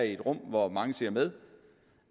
i et rum hvor mange ser med